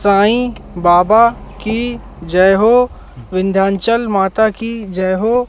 साईं बाबा की जय हो विंध्याचल माता की जय हो।